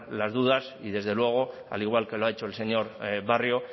las dudas y desde luego al igual que lo ha hecho el señor barrio